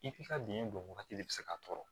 I k'i ka biyɛn bɔn wagati de bɛ se ka tɔɔrɔ